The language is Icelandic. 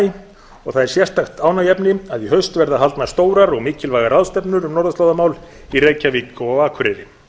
og það er sérstakt ánægjuefni að í haust verða haldnar stórar og mikilvægar ráðstefnur um norðurslóðamál í reykjavík og á akureyri